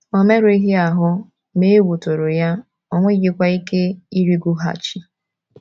O merụghị ahụ, ma egwu tụrụ ya, o nweghịkwa ike ịrịgoghachi.